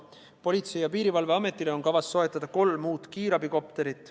Politsei- ja Piirivalveametile on kavas soetada kolm uut kiirabikopterit.